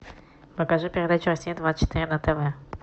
покажи передачу россия двадцать четыре на тв